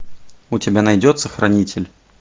у тебя найдется хранитель